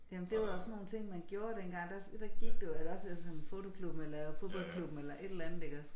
Jamen det var også sådan nogen ting man gjorde dengang der der gik du eller også så sådan fotoklubben eller fodboldklubben eller et eller andet iggås